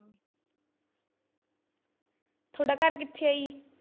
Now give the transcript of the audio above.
ਤੁਹਾਡਾ ਘਰ ਕਿੱਥੇ ਹੀ ਜੀ?